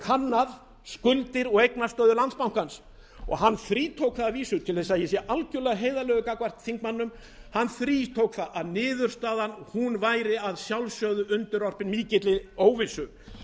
kannað skuldir og eignastöðu landsbankans og hann þrítók það að vísu til þess að ég sé algjörlega heiðarlegur gagnvart þingmönnum hann þrítók það að niðurstaðan væri að sjálfsögðu undirorpin mikilli óvissu